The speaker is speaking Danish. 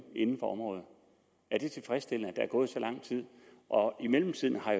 inden for området er det tilfredsstillende at der er gået så lang tid og i mellemtiden har